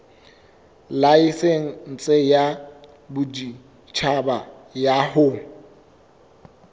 laesense ya boditjhaba ya ho